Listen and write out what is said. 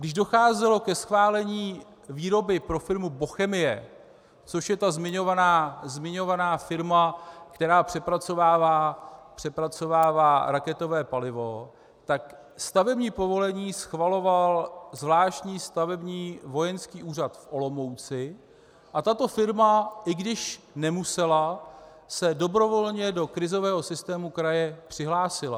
Když docházelo ke schválení výroby pro firmu Bochemie, což je ta zmiňovaná firma, která přepracovává raketové palivo, tak stavební povolení schvaloval zvláštní Stavební vojenský úřad v Olomouci a tato firma, i když nemusela, se dobrovolně do krizového systému kraje přihlásila.